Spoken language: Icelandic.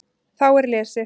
Þá er lesið